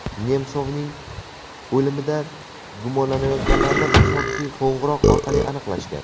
Nemsovning o‘limida gumonlanayotganlarni tasodifiy qo‘ng‘iroq orqali aniqlashgan.